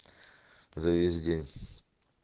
за весь день